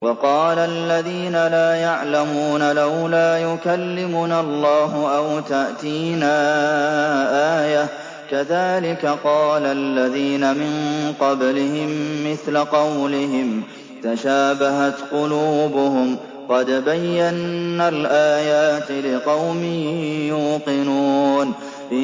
وَقَالَ الَّذِينَ لَا يَعْلَمُونَ لَوْلَا يُكَلِّمُنَا اللَّهُ أَوْ تَأْتِينَا آيَةٌ ۗ كَذَٰلِكَ قَالَ الَّذِينَ مِن قَبْلِهِم مِّثْلَ قَوْلِهِمْ ۘ تَشَابَهَتْ قُلُوبُهُمْ ۗ قَدْ بَيَّنَّا الْآيَاتِ لِقَوْمٍ يُوقِنُونَ